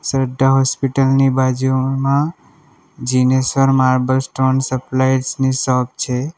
Shraddha hospital ની બાજુમાં Jineshwar marble stone suppliers ની શોપ છે.